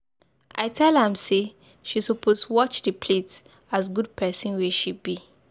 I tell am say she suppose watch the plate as good pikin wey she be.